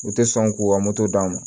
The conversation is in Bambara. U tɛ sɔn k'u ka moto d'a ma